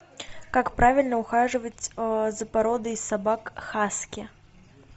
как правильно ухаживать за породой собак хаски